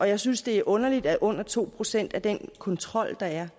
jeg synes det er underligt at under to procent af den kontrol der er